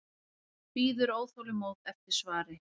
Bíður óþolinmóð eftir svari.